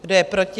Kdo je proti?